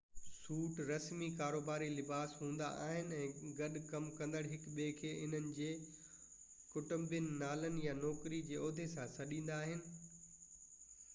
سوٽ رسمي ڪاروباري لباس هوندا آهن ۽ گڏ ڪم ڪندڙ هڪ ٻئي کي انهن جي ڪٽنبي نالن يا نوڪري جي عهدي سان سڏيندا آهن